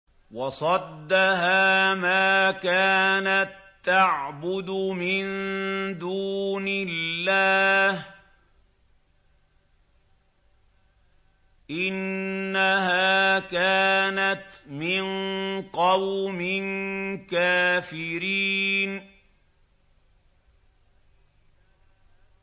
وَصَدَّهَا مَا كَانَت تَّعْبُدُ مِن دُونِ اللَّهِ ۖ إِنَّهَا كَانَتْ مِن قَوْمٍ كَافِرِينَ